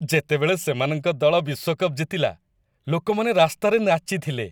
ଯେତେବେଳେ ସେମାନଙ୍କ ଦଳ ବିଶ୍ୱକପ୍ ଜିତିଲା ଲୋକମାନେ ରାସ୍ତାରେ ନାଚିଥିଲେ।